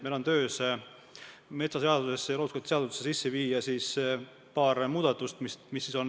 Meil on kavas teha metsaseadusesse ja looduskaitseseadusesse paar muudatust.